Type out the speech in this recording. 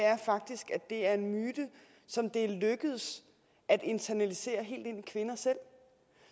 det er en myte som det er lykkedes at internalisere helt ind i kvinder selv